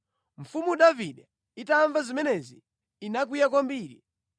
Mfumu Davide itamva zimenezi, inakwiya kwambiri.